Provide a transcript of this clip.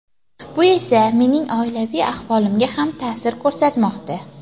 Bu esa mening oilaviy ahvolimga ham ta’sir ko‘rsatmoqda.